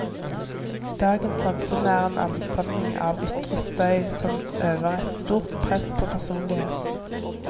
Dagens samfunn er en ansamling av ytre støy, som øver et stort press på personligheten.